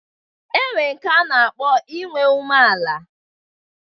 E nwere nke nke a na-akpọ inwe umeala